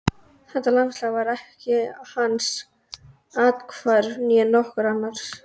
Þetta landslag var ekki hans athvarf, né nokkurs annars.